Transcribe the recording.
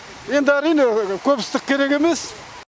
енді әрине көп ыстық керек емес